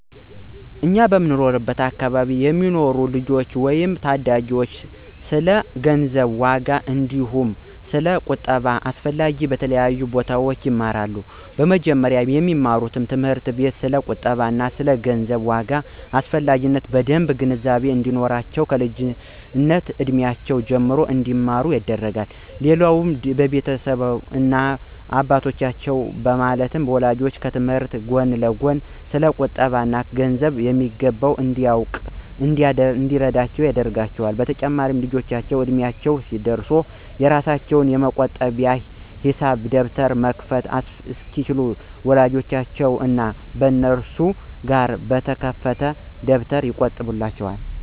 እኛ በምንኖርበት አከባቢ የሚኖሩ ልጆች ወይም ታዳጊዎች ስለ ገንዘብ ዋጋ አንዲሁም ስለ ቁጠባ አስፈላጊነት በተለያዩ ቦታዎች ይማራሉ። በመጀመሪያም በሚማሩበት ትምህርት ቤት ስለ ቁጠባ እና ገንዘብ ዋጋ አስፈላጊነት በደምብ ግንዛቤ እንዲኖራቸው ከልጅነት እድሜያቸው ጀምሮ እንዲማሩ ይደረጋል። ሌላው በቤታቸውም እናት እና አባቶቻቸው ማለትም ወላጆቻቸው ከትምህርታቸው ጎን ለጎን ስለ ቁጠባ እና ገንዘብ በሚገባ እንዲያውቁ እና እንዲረዱት ያደርጓቸዋል። በተጨማሪም ልጆቹ እድሚያቸው ደርሶ የራሳቸውን የመቆጠቢያ የሂሳብ ደብተር መክፈት እስኪችሉ በወላጆቻቸው እና በነሱ በጋራ በተከፈተ ደብተር ይቆጥቡላቸዋል።